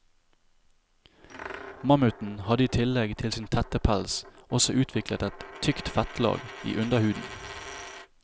Mammuten hadde i tillegg til sin tette pels også utviklet et tykt fettlag i underhuden.